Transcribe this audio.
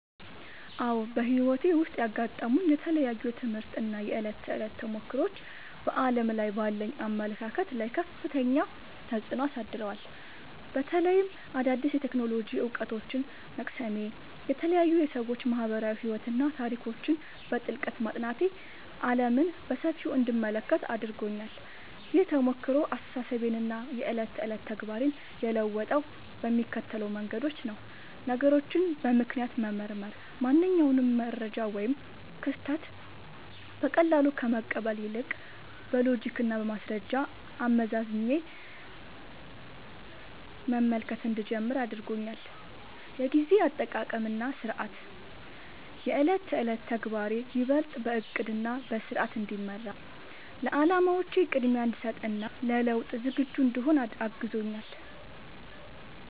አዎ፣ በሕይወቴ ውስጥ ያጋጠሙኝ የተለያዩ የትምህርት እና የዕለት ተዕለት ተሞክሮዎች በዓለም ላይ ባለኝ አመለካከት ላይ ከፍተኛ ተጽዕኖ አሳድረዋል። በተለይም አዳዲስ የቴክኖሎጂ እውቀቶችን መቅሰሜ፣ የተለያዩ የሰዎች ማኅበራዊ ሕይወትና ታሪኮችን በጥልቀት ማጥናቴ ዓለምን በሰፊው እንድመለከት አድርጎኛል። ይህ ተሞክሮ አስተሳሰቤንና የዕለት ተዕለት ተግባሬን የለወጠው በሚከተሉት መንገዶች ነው፦ ነገሮችን በምክንያት መመርመር፦ ማንኛውንም መረጃ ወይም ክስተት በቀላሉ ከመቀበል ይልቅ፣ በሎጂክና በማስረጃ አመዛዝኜ መመልከት እንድጀምር አድርጎኛል። የጊዜ አጠቃቀምና ሥርዓት፦ የዕለት ተዕለት ተግባሬ ይበልጥ በዕቅድና በሥርዓት እንዲመራ፣ ለዓላማዎቼ ቅድሚያ እንድሰጥ እና ለለውጥ ዝግጁ እንድሆን አግዞኛል።